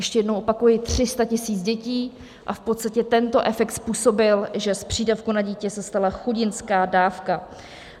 Ještě jednou opakuji, 300 000 dětí, a v podstatě tento efekt způsobil, že z přídavku na dítě se stala chudinská dávka.